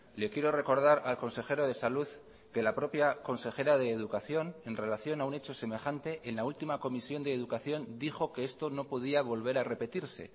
le quiero recordar al consejero de salud que la propia consejera de educación en relación a un hecho semejante en la última comisión de educación dijo que esto no podía volver a repetirse